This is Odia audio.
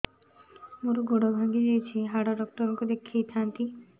ମୋର ଗୋଡ ଭାଙ୍ଗି ଯାଇଛି ହାଡ ଡକ୍ଟର ଙ୍କୁ ଦେଖେଇ ଥାନ୍ତି